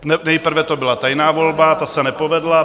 Nejprve to byla tajná volba, ta se nepovedla.